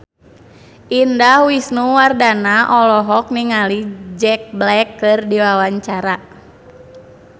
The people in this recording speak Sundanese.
Indah Wisnuwardana olohok ningali Jack Black keur diwawancara